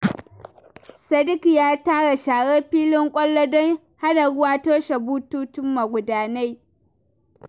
Sadiq ya tara sharar filin kwallo don hana ruwa toshe bututun magudanai.